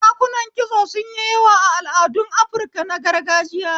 Dakunan kitso sun yi yawa a al'adun Afirka na gargajiya.